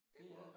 Det er